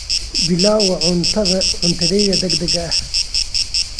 Pilau waa cuntadayda degdega ah.